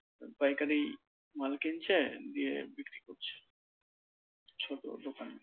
পাইকারি মাল কিনছে দিয়ে বিক্রি করছে, ছোট দোকানে